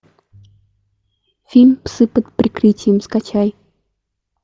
фильм псы под прикрытием скачай